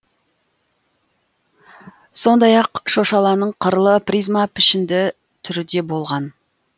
сондай ақ шошаланың қырлы призма пішінді түрі де болған